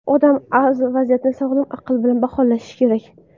Odam vaziyatni sog‘lom aql bilan baholashi kerak.